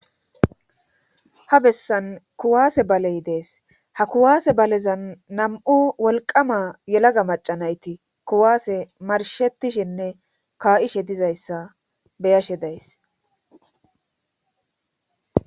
ha bessan kuwaase baley dees ha kuwaase balezan nam'u wolqama yelaga macanayti kuwaase marshetishinne kaa'ishe dizayssa beyashe days